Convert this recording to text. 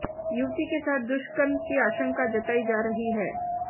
युवती के साथ दुष्कर्म की आशंका जताई जा रही है